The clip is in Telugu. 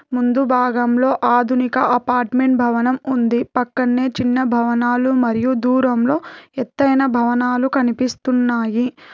ముందు భాగంలో ఆధునిక అపార్ట్మెంట్ భవనం ఉంది పక్కన్నే చిన్న భవనాలు మరియు దూరంలో ఎత్తైన భవనాలు కనిపిస్తున్నాయి.